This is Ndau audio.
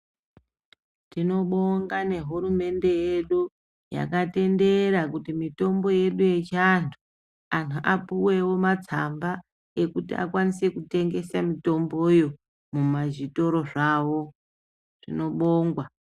Tinobonga nehurumende yedu yakatendera kuti mutombo yedu yechiandu andu apuwewo matsamba ekuti akwanise kutengesa mutomboyo mumazvitoro zvavo.